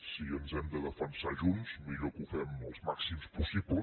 si ens hem de defensar junts millor que ho fem els màxims possibles